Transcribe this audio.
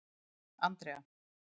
Andrea